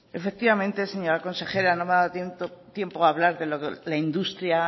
efectivamente señora consejera no me ha dado tiempo a hablar de lo de la industria